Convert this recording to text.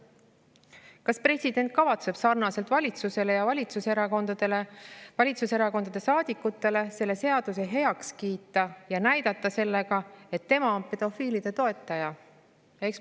Kas president kavatseb nii nagu valitsus ja valitsuserakondade saadikud selle seaduse heaks kiita ja näidata sellega, et ta on pedofiilide toetaja?